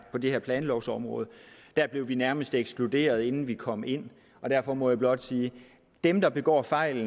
det her planlovsområde der blev vi nærmest ekskluderet inden vi kom ind og derfor må jeg blot sige at dem der begår fejl